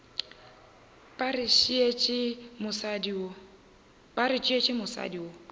ba re tšeetše mosadi go